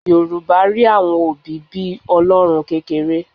Yorùbá rí àwọn òbí bí Ọlọ́run kékeré